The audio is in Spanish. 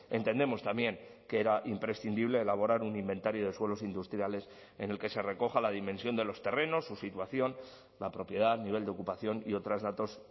entendemos también que era imprescindible elaborar un inventario de suelos industriales en el que se recoja la dimensión de los terrenos su situación la propiedad nivel de ocupación y otros datos